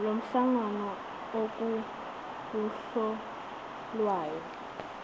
lomhlangano okuwuhlu lwayo